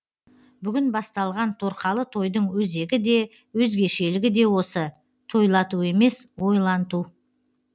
бүгін басталған торқалы тойдың өзегі де өзгешелігі де осы тойлату емес ойланту